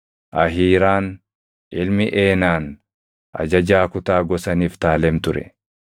Ahiiraan ilmi Eenaan ajajaa kutaa gosa Niftaalem ture.